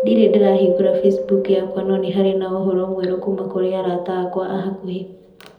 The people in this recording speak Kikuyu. Ndirĩ ndĩrahingũra Facebook yakwa, no nĩ harĩ na ũhoro mwerũ kuuma kũrĩ arata akwa a hakuhĩ.